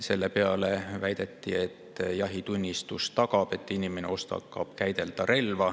Selle peale väideti, et jahitunnistus tagab, et inimene oskab relva käsitseda.